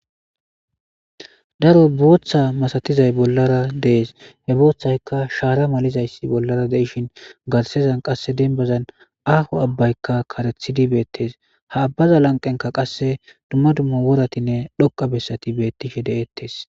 Daro booththa masatiza bollara de7es. He booththaykka shaara malizayssi bollara De7ishin,garssara qase dembbazan aaho abaykka karxidi beetees. Ha abaza lanqqenkka dumma dumma woratinne xoqqa bessati beetishe de7etees.